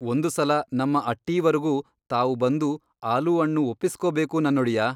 ಒಂದು ಸಲ ನಮ್ಮ ಅಟ್ಟೀವರೆಗೂ ತಾವು ಬಂದೂ ಆಲೂ ಅಣ್ಣು ಒಪ್ಪಸ್ಕೋಬೇಕು ನನ್ನೊಡೆಯ!